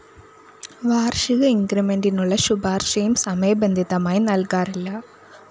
വാര്‍ഷിക ഇന്‍ക്രിമെന്റിനുള്ള ശുപാര്‍ശയും സമയബന്ധിതമായി നല്‍കാറില്ല